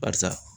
Barisa